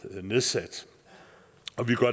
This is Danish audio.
nedsat